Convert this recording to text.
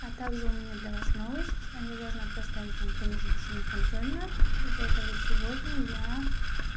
а также у меня для вас новость а я должна предоставить вам промежуточную контрольную из-за этого сегодня я